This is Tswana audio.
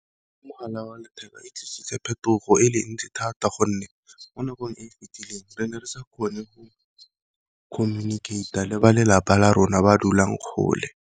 Mogala wa letheka e tlisitse phetogo e le ntsi thata gonne, mo nakong e e fitileng re ne re sa kgone go communicate-a le ba lelapa la rona ba dulang kgole.